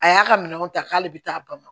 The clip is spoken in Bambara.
A y'a ka minɛnw ta k'ale bɛ taa bamakɔ